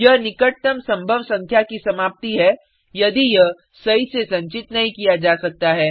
यह निकटतम संभव संख्या की समाप्ति है यदि यह सही से संचित नहीं किया जा सकता है